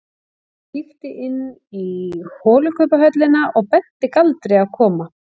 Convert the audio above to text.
Hún kíkti inn í holukubbhöllina og benti Galdri að koma.